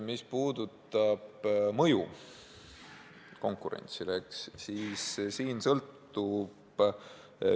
Mis puudutab mõju konkurentsile, siis see sõltub paljust.